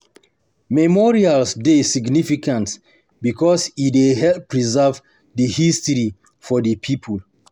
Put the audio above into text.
Memorials dey significant because e dey help preserve di history of di pipo